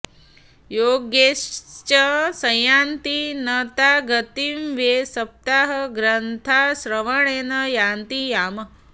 योगैश्च संयान्ति न तां गतिं वै सप्ताहगाथाश्रवणेन यान्ति याम्